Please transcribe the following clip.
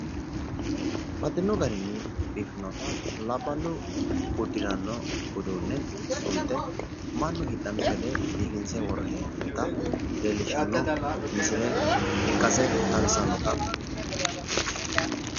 Baxxino garinni biifinotta, Labbalu uduune koni garinni sunte leelinshe duunichu ikke biifano geeshsha xawisate horonsi'nanni haaro hayyoti